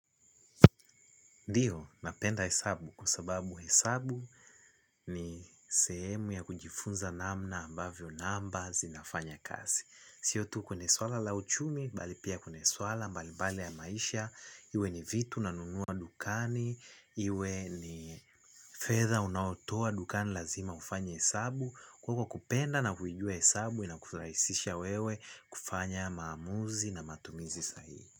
Ndio, napenda hesabu kwa sababu hesabu ni sehemu ya kujifunza namna ambavyo namba zinafanya kazi. Siyo tu kwenye suala la uchumi, bali pia kwenye suala mbalimbali ya maisha, iwe ni vitu ninavyonunua dukani, iwe ni feather unayotoa dukani, lazima ufanye hesabu. Kwa hivyo kupenda na kujua hesabu inakurahisishia wewe kufanya maamuzi na matumizi sahihi.